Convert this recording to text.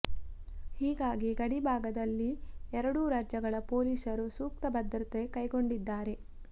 ಹೀಗಾಗಿ ಗಡಿ ಭಾಗದಲ್ಲಿ ಎರಡೂ ರಾಜ್ಯಗಳ ಪೊಲೀಸರು ಸೂಕ್ತ ಭದ್ರತೆ ಕೈಗೊಂಡಿದ್ದಾರೆ